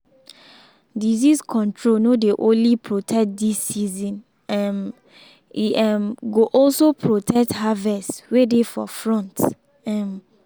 disease control no dey only protect this season um e um go also protect harvests way dey for front. um